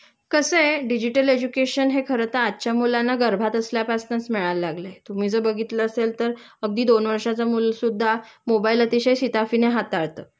कसंय digital education हे खरंतर आजच्या मुलांना गर्भात असल्यापासनच मिळायला लागलाय.तुम्ही जर बघितलं असेल तर अगदी दोन वर्षाचं मूल सुद्धा मोबाइल अतिशय शिताफीने हाताळत